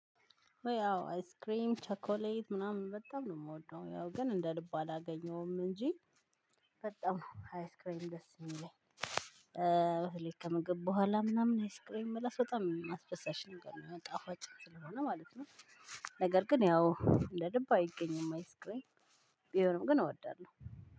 ያው አይስክሬም ቸኮሌት ምናምን በጣም ነው የምወደው ያው ግን እንደ ልቡ አላገኘውም እንጂ ሃይስክሬን ደስ የሚለኝ። በተለይ ከምግብ በኋላ ምናምን ሃይስክሬን መላስ በጣም አስደሳች ነገር ነው የመጣው ጣፋጭ ስለሆነ ማለት ነው። ነገር ግን ያው እንደ ልብ አይገኝም አይስክሬን። ቢሆንም ግን እወዳለሁ።